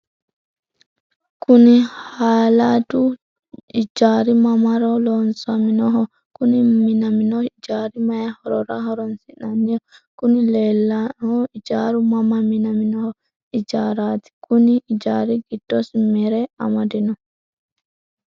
Kuni halaadu ijari mamaro loosaminoho? Kuni minamino ijari mayi horora horonisinaniho? Kuni leleano ijari mama minamino ijarati? Kuni ijari gidosi mere amadino?